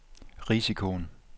risikoen